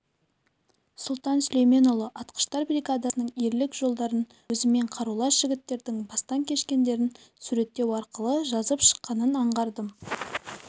сұлтан сүлейменұлы атқыштар бригадасының ерлік жолдарын өзімен қарулас жігіттердің бастан кешкендерін суреттеу арқылы жазып шыққанын аңғардым